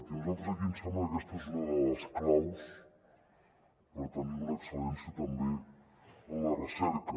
i a nosaltres aquí ens sembla que aquesta és una de les claus per tenir una excel·lència també en la recerca